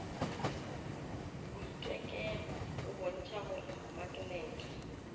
boitekelo go bontšha gore maknete